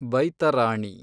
Baitarani